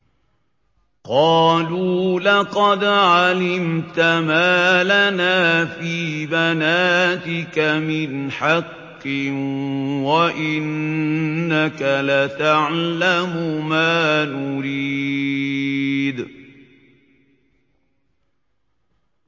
قَالُوا لَقَدْ عَلِمْتَ مَا لَنَا فِي بَنَاتِكَ مِنْ حَقٍّ وَإِنَّكَ لَتَعْلَمُ مَا نُرِيدُ